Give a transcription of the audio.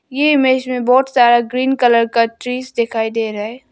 ये इमेज में बहुत सारा ग्रीन कलर का ड्रेस दिखाई दे रहा है।